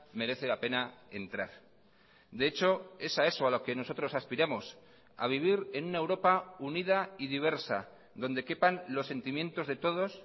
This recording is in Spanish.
merece la pena entrar de hecho es a eso a lo que nosotros aspiramos a vivir en una europa unida y diversa donde quepan los sentimientos de todos